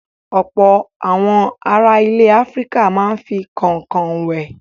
Ọ̀pọ̀ àwọn ará ilẹ̀ Áfíríkà máa ń fi kànkàn wẹ̀.